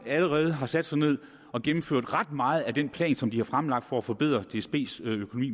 allerede har sat sig ned og gennemført ret meget af den plan som de har fremlagt for at forbedre dsbs økonomi